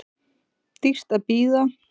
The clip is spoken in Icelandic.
Dýrt að bíða